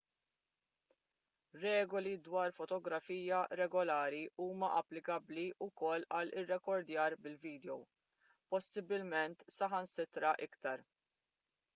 regoli dwar fotografija regolari huma applikabbli wkoll għall-irrekordjar bil-vidjow possibbilment saħansitra iktar